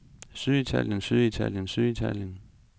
syditalien syditalien syditalien